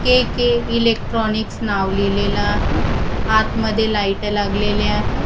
के K electronics नाव लिहिलेलं आहे. आत मध्ये लाईट लागलेले आहे.